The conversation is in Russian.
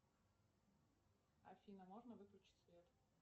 афина можно выключить свет